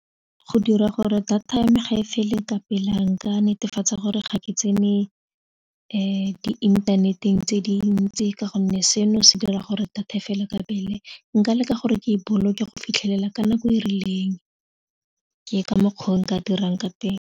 Go dira gore data ya me gae fele ka pela nka netefatsa gore ga ke tsene diinthaneteng tse dintsi ka gonne seno se dira gore data e fele ka pele nka leka gore ke e boloke go fitlhelela ka nako e rileng ke Ka mokgo nka dirang ka teng.